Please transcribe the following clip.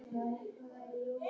Fá þeir þá ekkert að gera?